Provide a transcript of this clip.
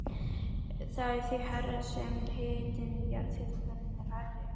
Það er því hærra sem hitinn í jarðhitakerfinu er hærri.